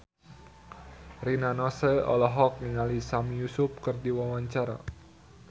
Rina Nose olohok ningali Sami Yusuf keur diwawancara